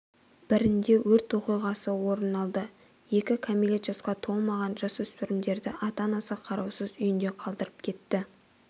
бірінде өрт оқиғасы орын алды екі кәмелет жасқа толмаған жасөспірімдерді ата-анасы қараусыз үйінде қалдырып кетті